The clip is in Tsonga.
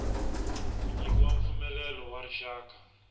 ku nyikiwa mpfumelelo wa rixaka